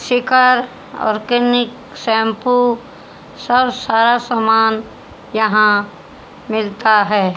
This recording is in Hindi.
शिखर ऑर्गेनिक शैंपू सर सारा सामान यहां मिलता है।